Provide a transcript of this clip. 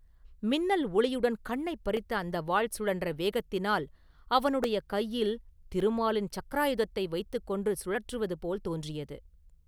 மின்னல் ஒளியுடன் கண்ணைப் பறித்த அந்த வாள் சுழன்ற வேகத்தினால் அவனுடைய கையில் திருமாலின் சக்கராயுதத்தை வைத்துக் கொண்டு சுழற்றுவது போல் தோன்றியது.